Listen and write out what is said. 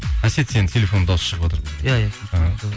әсет сенің телефоныңды дауысы шығыватыр